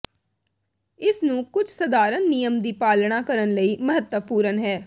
ਇਸ ਨੂੰ ਕੁਝ ਸਧਾਰਨ ਨਿਯਮ ਦੀ ਪਾਲਣਾ ਕਰਨ ਲਈ ਮਹੱਤਵਪੂਰਨ ਹੈ